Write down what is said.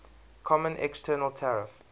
common external tariff